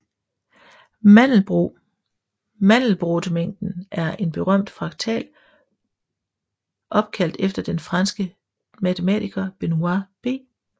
Mandelbrotmængden er en berømt fraktal opkaldt efter den franske matematiker Benoît B